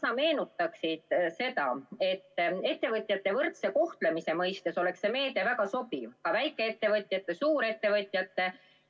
Kas sa tuletaksid meelde, et ettevõtjate võrdse kohtlemise seisukohalt oleks see meede väga sobiv – nii väikeettevõtjate kui ka suurettevõtjate seisukohalt.